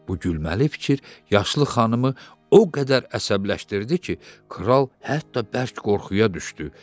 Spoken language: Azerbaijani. Bu gülməli fikir yaşlı xanımı o qədər əsəbləşdirdi ki, kral hətta bərk qorxuya düşdü.